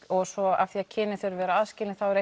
og svo af því kynin þurfa að vera aðskilin þá er